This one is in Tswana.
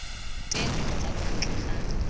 teng kgotsa kwa ntle ga